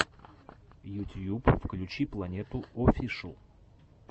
ютьюб включи планету оффишл